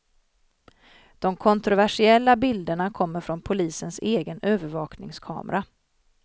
De kontroversiella bilderna kommer från polisens egen övervakningskamera.